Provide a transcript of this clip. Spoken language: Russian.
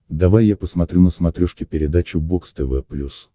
давай я посмотрю на смотрешке передачу бокс тв плюс